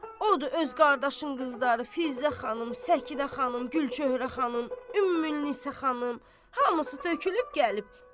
Odur öz qardaşın qızları, Fizə xanım, Səkinə xanım, Gülçöhrə xanım, Ümmül Nisə xanım hamısı tökülüb gəlib.